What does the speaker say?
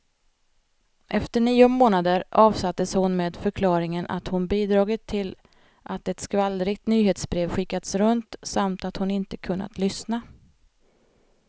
Efter nio månader avsattes hon med förklaringen att hon bidragit till att ett skvallrigt nyhetsbrev skickats runt, samt att hon inte kunnat lyssna.